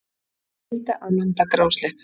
Skylda að landa grásleppu